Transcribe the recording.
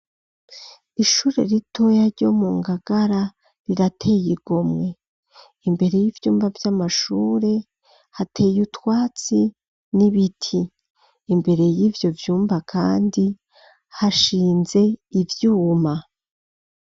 Ishure ritoya ryo mu ngagara ,rirateye igomwe imbere y'ivyumba vy'amashure, hateye utwatsi n'ibiti ,imbere y'ivyo vyumba kandi hashinze ivyuma.